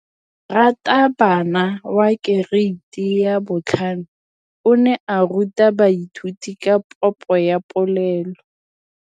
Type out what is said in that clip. Moratabana wa kereiti ya 5 o ne a ruta baithuti ka popô ya polelô.